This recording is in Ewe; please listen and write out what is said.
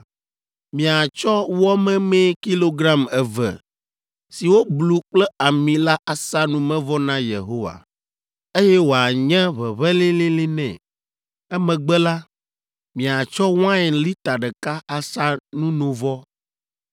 Miatsɔ wɔ memee kilogram eve si woblu kple ami la asa numevɔ na Yehowa, eye wòanye ʋeʋẽ lĩlĩlĩ nɛ. Emegbe la, miatsɔ wain lita ɖeka asa nunovɔ.